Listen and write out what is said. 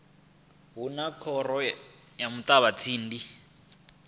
hu na khoro ya muṱavhatsindi